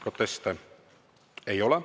Proteste ei ole.